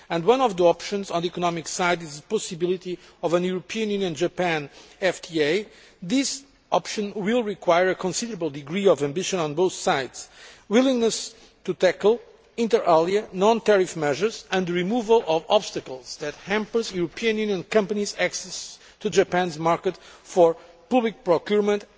One of the options on the economic side is the possibility of a European Union Japan FDA. This option will require a considerable degree of ambition on both sides and a willingness to tackle, inter alia non tariff measures and the removal of obstacles that hamper European Union companies' access to Japan's market for public procurement.